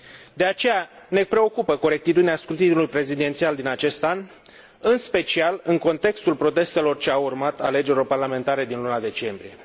De aceea, ne preocupă corectitudinea scrutinului prezidențial din acest an, în special în contextul protestelor ce au urmat alegerilor parlamentare din luna decembrie.